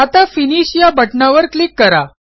आता फिनिश या बटणावर क्लिक करा